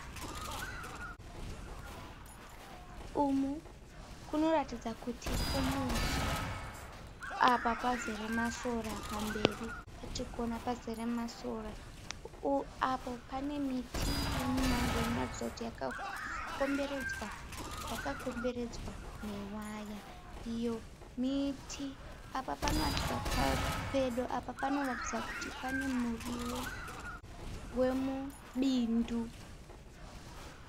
Umu kunoratidza kuti kumusha apa pazere masora pamberi patiri kuona pazere masora apo pane miti yemumango inoratidza kuti yakakomberedzwa yakakomberedzwa newaya iyo miti apo panoratidza pedo apo panoratidza kuti pane muriwo wemubindu.